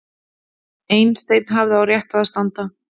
Einstein hafði á réttu að standa